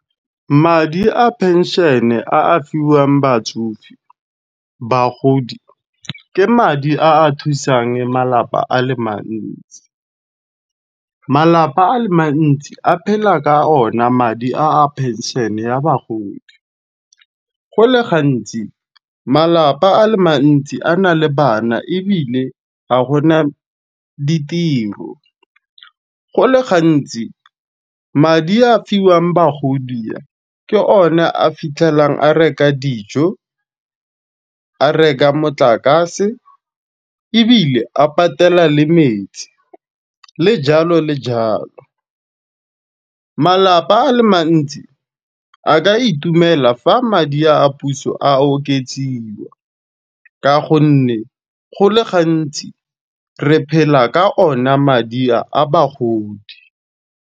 Madi a phenšene a fiwang batsofe, bagodi. Ke madi a a thusang malapa a le mantsi. Malapa a le mantsi a phela ka ona madi a a phenšhene ya bagodi, go le gantsi malapa a le mantsi a na le bana ebile ga gona ditiro. Go le gantsi madi a fiwang bagodi ke one a fitlhelang a reka dijo, a reka motlakase, ebile a patela le metsi le jalo le jalo. Malapa a le mantsi a ka itumela fa madi a puso a oketsiwa ka gonne go le gantsi re phela ka ona madi a bagodi.